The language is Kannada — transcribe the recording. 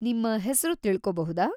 ನಿಮ್ಮ ಹೆಸ್ರು ತಿಳ್ಕೊಬಹುದಾ?